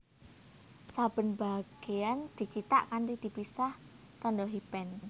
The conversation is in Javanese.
Saben bagéyan dicithak kanthi dipisah tandha hyphen